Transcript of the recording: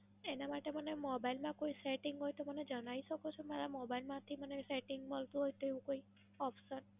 એના માટે મને મોબાઇલમાં કોઈ Setting હોય તો મને જણાઈ શકો છો. મારા Mobile માંથી મને Setting મળતું હોય તો કોઈ Option.